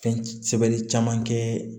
Fɛn sɛbɛnni caman kɛ